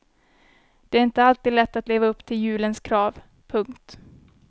Det är inte alltid lätt att leva upp till julens krav. punkt